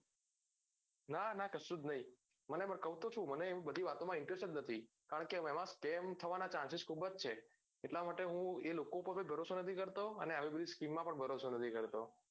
ના ના કસુજ નહિ મને એ કહું તો છું મને એ બધી વાતો મા interest નથી કારણ કે તેમાં ban થવાના chances ખુબજ છે એટલા માટે હું એ લોકો પર ભરોસો નથી કરતો અને આવી બધી skim મા ભી ભરોસો નથી કરતો